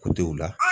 Kundenw la